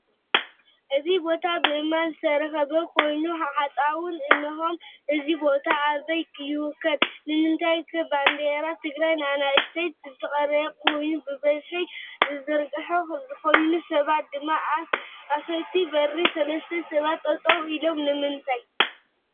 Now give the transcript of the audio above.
እዚ ቦታ ብእማን ዝተኸበበ ኮይኑ ሓፃውን አነሆዎ እዚ ቦታ አበይ ይከወን? ንምንታይከ ባንዳራ ትግራይ ብአናእሽተየ ዝተቀረፀ ኮይኑ ብበዝ ዝተዘርገሐ ኾይኑ ሰባት ድማ አፈቲ በሪ 3ተ ሰባት ጠጠው ኤሎም ንምንተይ?